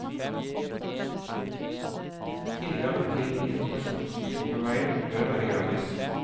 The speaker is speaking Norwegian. Tilgang til informasjonsmotorveien bør være gratis.